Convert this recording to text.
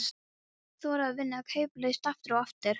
Þora að vinna kauplaust, aftur og aftur og aftur.